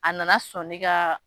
A nana sɔn ne ka